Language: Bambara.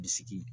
Bisiki